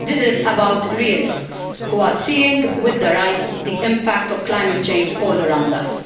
This is about realists who are seeing with their eyes the impact of climate change all around us.